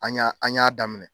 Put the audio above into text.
An ɲ'a an ɲ'a daminɛ